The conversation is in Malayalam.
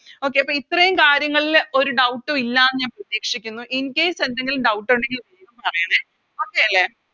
Okay അപ്പൊ ഇത്രേം കാര്യങ്ങളില് ഒര് Doubt ഇല്ല ഞാൻ പ്രദീക്ഷിക്കുന്നു Incase എന്തെങ്കിലും Doubt ഒണ്ടെങ്കിൽ വിളിച്ച് പറയണേ Okay അല്ലെ